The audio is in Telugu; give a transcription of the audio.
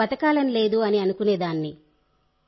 నాకు బతకాలని లేదు అని అనుకునేదాన్ని